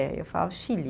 Eh, eu falava Chile.